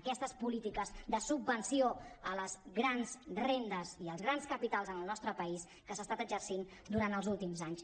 aquestes polítiques de subvenció a les grans rendes i als grans capitals al nostre país que s’ha estat exercint durant els últims anys